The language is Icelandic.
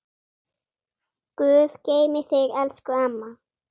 Guð geymi þig elsku amma.